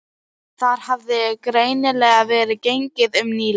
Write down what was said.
Þar hafði greinilega verið gengið um nýlega.